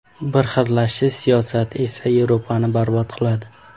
Birxillashtirish siyosati esa Yevropani barbod qiladi.